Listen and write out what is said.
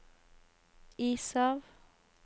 is av